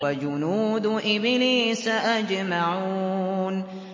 وَجُنُودُ إِبْلِيسَ أَجْمَعُونَ